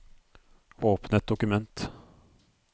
Åpne et dokument